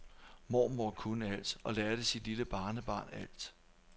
Mormor kunne alt og lærte sit lille barnebarn alt.